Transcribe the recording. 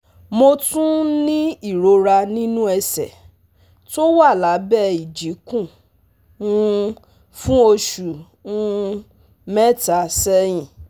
Mo tún ń ní ìrora nínú ẹsẹ̀, tó wà lábẹ́ ìjikùn um fún oṣù um mẹ́ta sẹ́yìn